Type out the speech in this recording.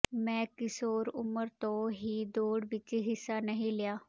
ਮੈਂ ਕਿਸ਼ੋਰ ਉਮਰ ਤੋਂ ਹੀ ਦੌੜ ਵਿੱਚ ਹਿੱਸਾ ਨਹੀਂ ਲਿਆ